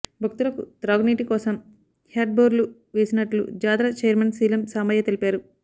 భక్తులకు త్రాగునీటి కోసం హ్యడ్బోర్లు వేసినట్లు జాతర చైర్మన్ శీలం సాంబయ్య తెలిపారు